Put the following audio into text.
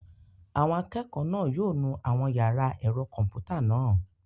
Àwọn akẹ́kọ̀ọ́ náà yóò nu àwọn yàrá ẹ̀rọ kọ̀m̀pútà náà.